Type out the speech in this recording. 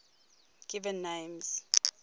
given names